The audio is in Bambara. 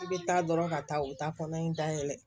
I bɛ taa dɔrɔn ka taa u ta kɔnɔ in da yɛlɛ